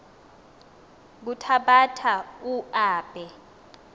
kuthabatha u aabe